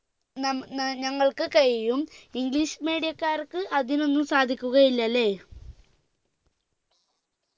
നം ഏർ ഞങ്ങൾക്ക് കഴിയും english medium ക്കാർക്ക് അതിനൊന്നും സാധിക്കുകയില്ലല്ലേ